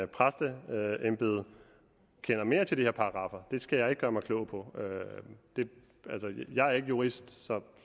præsteembede kender mere til de her paragraffer det skal jeg ikke gøre mig klog på jeg er ikke jurist så